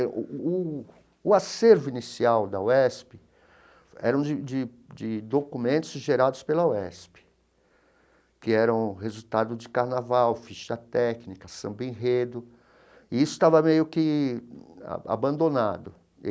O, o acervo inicial da UESP eram de de de documentos gerados pela UESP, que eram resultado de carnaval, ficha técnica, samba-enredo, e isso estava meio que abandonado.